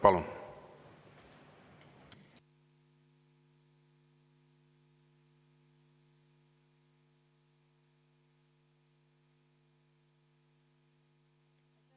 Palun!